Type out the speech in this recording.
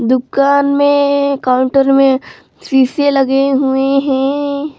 दुकान में काउंटर में शीशे लगे हुए हैं।